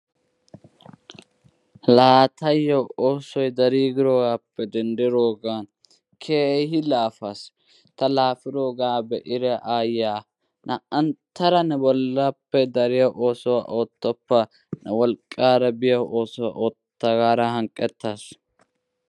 La tayo oosoy darigirogappe denddirogan keehi laafas. ta laafiroga beida aayiyaa naa'anttada ne bollappe dariya oosuwaa ottoppa; ne wolqqara biya oosuwaa otta gara hanqqetasu.